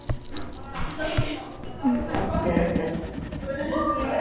Kristján: Og er þetta eitthvað að seljast?